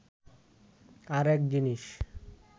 আর-এক জিনিস